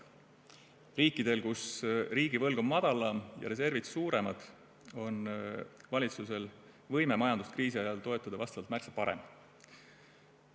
Riikides, kus riigivõlg on madalam ja reservid suuremad, on valitsuse võime majandust kriisi ajal toetada märksa parem.